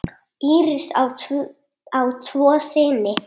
Íris á tvo syni.